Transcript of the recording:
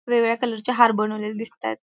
वेगवेगळ्या कलरचे हार बनवलेले दिसतायत.